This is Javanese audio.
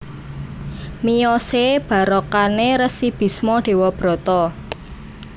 Miyosé barakané Resi Bisma Dewabrata